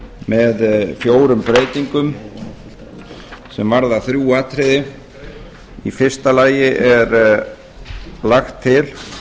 með fjórum breytingum sem varða þrjú atriði í fyrsta lagi er lagt til